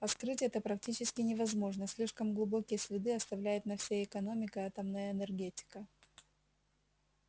а скрыть это практически невозможно слишком глубокие следы оставляет на всей экономике атомная энергетика